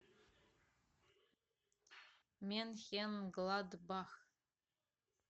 менхенгладбах